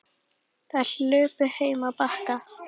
Þær hlupu heim á Bakka.